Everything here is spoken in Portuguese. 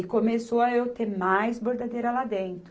E começou a eu ter mais bordadeira lá dentro.